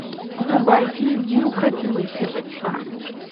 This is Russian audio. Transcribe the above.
врубай фильм неукротимые сердца